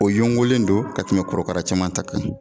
O yongolen don ka tɛmɛ korokara cɛman ta kan.